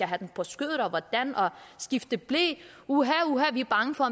have dem på skødet og hvordan og skifte ble uha uha vi er bange for